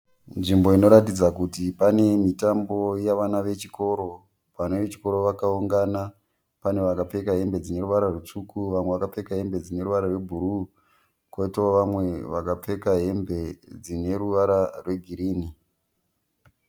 Nzvimbo inoratidza kuti pane mitambo yevana vechikoro. Vana vechikoro vakaungana. Pane vakapfeka hembe dzineruvara rutsvuku, vamwe vakapfeka hembe dzineruvara rwebhuruwu. Koitowo vamwe vakapfeka hembe dzineruvara rwegirinhi.